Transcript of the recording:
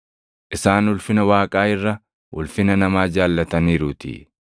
isaan ulfina Waaqaa irra ulfina namaa jaallataniiruutii.